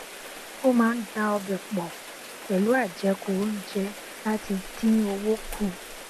ó máa ń da ọbẹ pọ pẹlú àjẹkù oúnjẹ láti dín owó kù